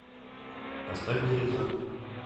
поставь дереза